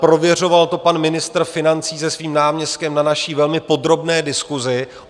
Prověřoval to pan ministr financí se svým náměstkem na naší velmi podrobné diskusi.